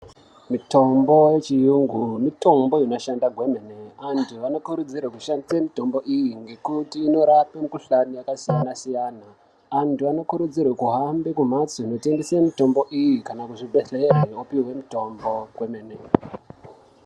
Mitombo yechiyungu mitombo inoshanda kwemene antu anokurudzirwe kushandise mutombo iyi ngekuti inorape mikhuhlani yakasiyana siyana antu anokurudzirwe kuhambe kumhatso inotengese mitombo iyi kana kuzvibhedhlera opihwe mitombo kwemene.